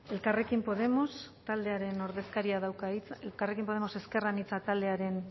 elkarrekin podemos ezker anitza taldearen